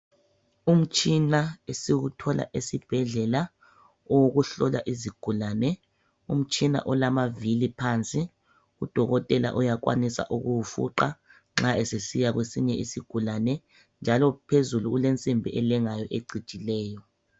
Umtshina esiwuthola esibhedlela owokuhlola izigulane, umtshina olamavili phansi udokotela uyakhwanisa ukuwufuqa nxa esesiya kwesinye isigulane. Njalo phezulu kulensimbi elengayo ecijileyo.